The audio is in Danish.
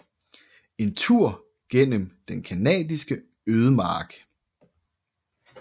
En tur gennem den Canadiske ødemark